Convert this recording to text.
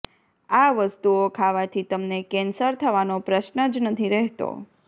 આ વસ્તુઓ ખાવાથી તમને કેન્સર થવાનો પ્રશ્ન જ નથી રહેતો